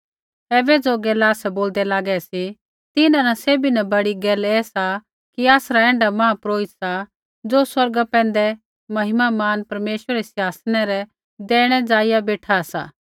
ऐबै ज़ो गैला आसै बोलदै लागै सी तिन्हां न सैभी न बड़ी गैल ऐसा कि आसरा ऐण्ढा महापुरोहित सा ज़ो स्वर्गा पैंधै महिमामान परमेश्वरै रै सिंहासनै रै दैहिणै ज़ाइआ बेशा सा